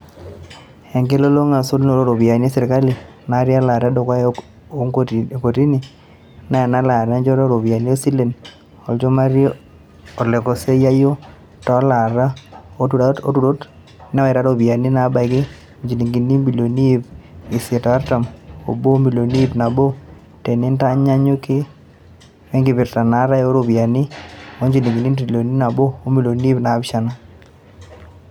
Enkilulunga e sotunoto o ropiyiani e sirkali, naati elaata edukuya o ntokitin e naa elaata enchoto o ropiyiani o silen, olchumati olekosiayio toolota utarot, newaita iropyiani naabaiki injilingini ibilioni iip isiet o artam obo o milini iip nabo tenintanyanyuk we nkipirta naatay o ropiyiani injilingini entrilion nabo o milioni iip naapishana.